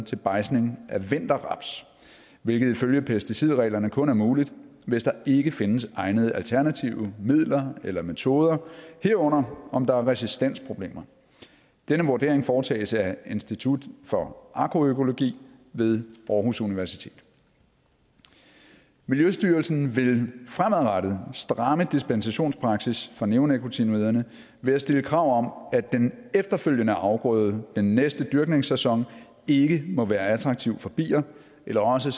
til bejdsning af vinterraps hvilket ifølge pesticidreglerne kun er muligt hvis der ikke findes egnede alternative midler eller metoder herunder om der er resistensproblemer denne vurdering foretages af institut for agroøkologi ved aarhus universitet miljøstyrelsen vil fremadrettet stramme dispensationspraksis for neonikotinoiderne ved at stille krav om at den efterfølgende afgrøde den næste dyrkningssæson ikke må være attraktiv for bier eller også